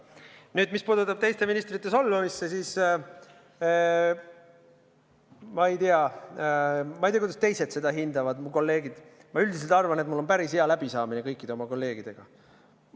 Nüüd, mis puutub teiste ministrite solvamisse, siis ma ei tea, kuidas mu kolleegid seda hindavad, aga ma üldiselt arvan, et mul on päris hea läbisaamine kõikide kolleegidega.